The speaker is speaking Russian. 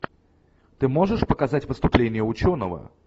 ты можешь показать выступление ученого